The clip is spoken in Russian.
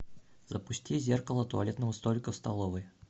запусти зеркало туалетного столика в столовой